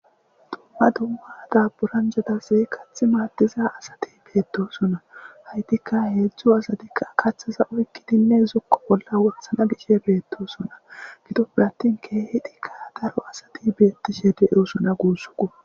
tumma dummada buranjatasi kath maaddiza asati beetosona haytikka heedzdzu asatikka kaththaza oykkidinne zokko bolla worsana gishe beettosona gido pirattin keehidikka daro asati beettishe deyosuna guussuku